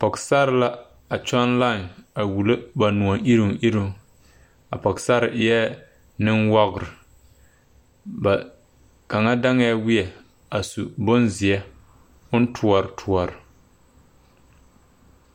Pɔgesare la a kyɔŋ laen a wullo ba noɔiriŋ iruŋ a pɔgesare eɛ nenwogri ba kaŋa daŋɛɛ weɛŋ a su bonzeɛ oŋ toɔre toɔre.